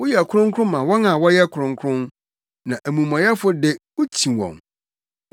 Woyɛ kronkron ma wɔn a wɔyɛ kronkron, na amumɔyɛfo de, wukyi wɔn.